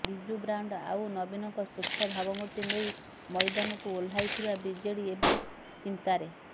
Biju brand ଆଉ ନବୀନଙ୍କ ସ୍ୱଚ୍ଛ ଭାବମୂର୍ତ୍ତି ନେଇ ମଇଦାନକୁ ଓହ୍ଲାଇଥିବା ବିଜେଡି ଏବେ ଚିନ୍ତାରେ